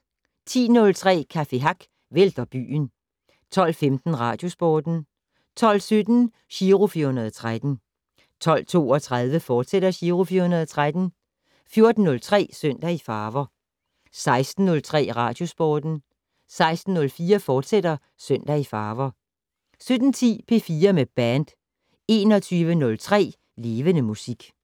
10:03: Café Hack vælter byen 12:15: Radiosporten 12:17: Giro 413 12:32: Giro 413, fortsat 14:03: Søndag i farver 16:03: Radiosporten 16:04: Søndag i farver, fortsat 17:10: P4 med band 21:03: Levende Musik